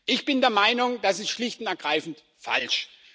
Ich bin der Meinung, das ist schlicht und ergreifend falsch.